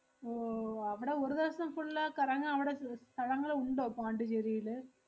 ഓ അവടെ ഒരു ദെവസം full അഹ് കറങ്ങാൻ അവടെ സ്~ സ്ഥലങ്ങള് ഉണ്ടോ പോണ്ടിച്ചേരില്?